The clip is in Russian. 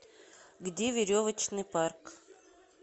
где веревочный парк